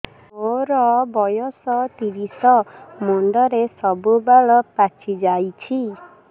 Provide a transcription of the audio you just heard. ମୋର ବୟସ ତିରିଶ ମୁଣ୍ଡରେ ସବୁ ବାଳ ପାଚିଯାଇଛି